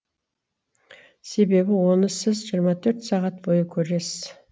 себебі оны сіз жиырма төрт сағат бойы көресіз